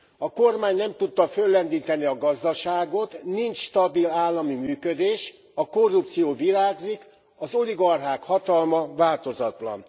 A kormány nem tudta föllendíteni a gazdaságot, nincs stabil állami működés, a korrupció virágzik, az oligarchák hatalma változatlan.